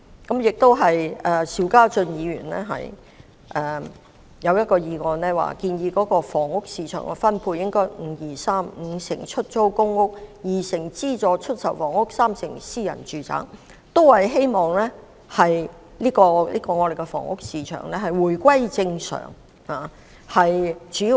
至於邵家臻議員提出的議案，他建議房屋市場分配應為 "5-2-3"， 即五成為出租公屋、二成為資助出售房屋，三成為私人住宅，希望藉此讓香港的房屋市場回復正常。